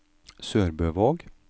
SørbØvåg